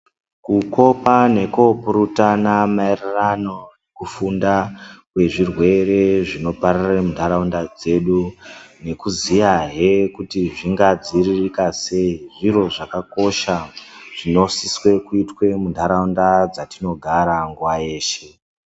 Kukopa nekupurutana maererano nekufunda kwezvirwere zvinopararire mundaraunda dzedu nekuziya heee kuti zvingadziiririka sei zviro zvakakosha zvinosise kuitwe mundaraunda yatinogara nguva dzeshe.